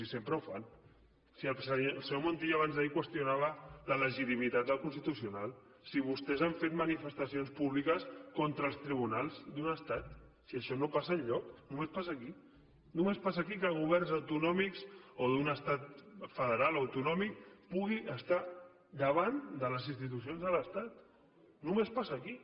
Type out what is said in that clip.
si sempre ho fan si el senyor montilla abans d’ahir qüestionava la legitimitat del constitucional si vostès han fet manifestacions públiques contra els tribunals d’un estat si això no passa enlloc només passa aquí només passa aquí que governs autonòmics o d’un estat federal o autonòmic pugui estar davant de les institucions de l’estat només passa aquí